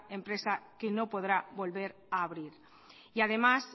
empresa que no podrá volver a abrir y además